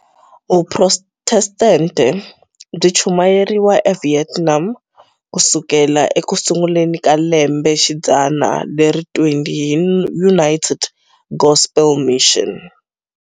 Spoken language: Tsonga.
Vuprotestente byi chumayeriwe eVietnam ku sukela eku sunguleni ka lembexidzana leri 20 hi United Gospel Mission.